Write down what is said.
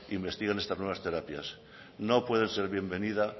investigan estas nuevas terapias no puede ser bienvenido